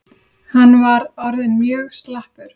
Hann var orðinn mjög slappur.